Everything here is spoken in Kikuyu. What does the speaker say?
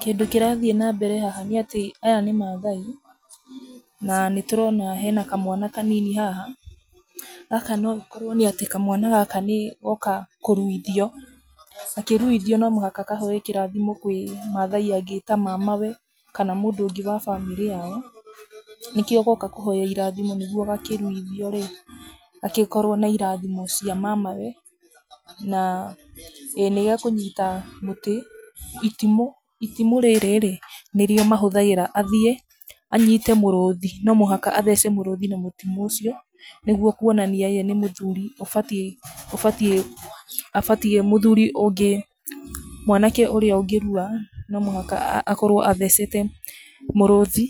Kĩndũ kĩrathiĩ na mbere haha nĩ atĩ aya nĩ mathai, na nĩ tũrona hena kamwana kanini haha, gaka no gakorwo nĩ atĩ kamwana gaka nĩgoka kũruithio, gakĩ ruithio, no mũhaka kahoe kĩrathimo kũrĩ mathai angĩ ta mama we kana mũndũ ũngĩ wa bamĩrĩ yao, nĩkĩo goka kũhoya irathimo nĩguo gakĩ ruithio rĩ, gagĩkorwo na irathimo cia mamawe, na ĩĩ nĩgekũnyita mũtĩ, itimũ, wa itimũ rĩrĩ rĩ nĩrĩo mahũthagĩra athiĩ anyite mũrũthi, no mũhaka athece mũrũthi na itimũ rĩu, nĩguo kwonania ye nĩ mũthuri, abatie, ũbatie, mũthuri ũngĩ, mwanake ũrĩa ũngĩ rua no mũhaka akorwo athecete mũrũthi